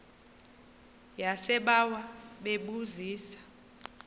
yasebawa bebu zisa